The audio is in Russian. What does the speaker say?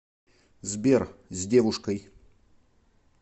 сбер с девушкой